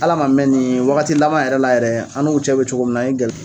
Ala ma mɛn nin waagati laban yɛrɛ la yɛrɛ an n'u cɛ bɛ cogo min na an ye